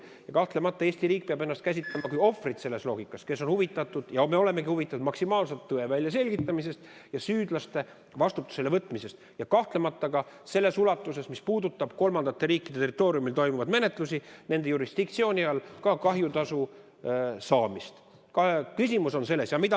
Ja kahtlemata peab Eesti riik ennast käsitama kui ohvrit, kes on huvitatud – ja me olemegi huvitatud – maksimaalsest tõe väljaselgitamisest ja süüdlaste vastutusele võtmisest, ja seda kahtlemata ka niisuguses ulatuses, mis puudutab kolmandate riikide territooriumil, nende jurisdiktsiooni all toimuvaid menetlusi, ja ka kahjutasu saamist.